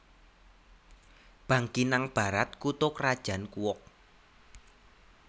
Bangkinang Barat kutha krajan Kuok